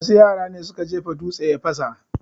Wasu yara ne suka jefa dutse ya fasa